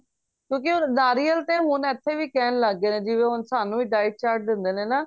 ਕਿਉਂਕਿ ਹੁਣ ਨਾਰੀਅਲ ਤੇ ਹੁਣ ਇੱਥੇ ਵੀ ਕਹਿਣ ਲੱਗ ਗਏ ਨੇ ਜਿਵੇਂ ਹੁਣ ਸਾਨੂੰ ਵੀ diet chart ਦਿੰਦੇ ਨੇ ਨਾ